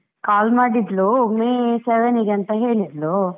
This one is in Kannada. call ಮಾಡಿದ್ಲು, May seven ಗೆ ಅಂತ ಹೇಳಿದ್ಲು.